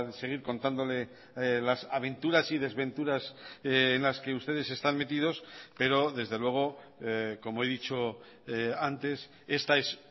seguir contándole las aventuras y desventuras en las que ustedes están metidos pero desde luego como he dicho antes esta es